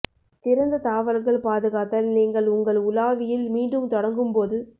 திறந்த தாவல்கள் பாதுகாத்தல் நீங்கள் உங்கள் உலாவியில் மீண்டும் தொடங்கும் போது